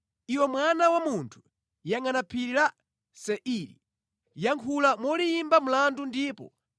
“Iwe mwana wa munthu, yangʼana phiri la Seiri; yankhula moliyimba mlandu ndipo